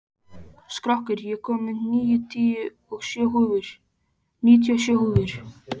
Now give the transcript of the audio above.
Skröggur, ég kom með níutíu og sjö húfur!